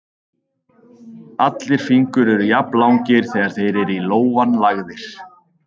Allir fingur eru jafnlangir þegar þeir eru í lófann lagðir.